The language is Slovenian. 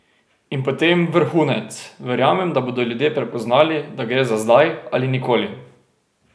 In potem vrhunec: "Verjamem, da bodo ljudje prepoznali, da gre za zdaj ali nikoli.